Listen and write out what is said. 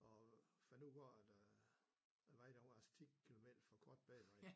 Og fandt ud af at øh vejen den var altså 10 kilometer for kort bag mig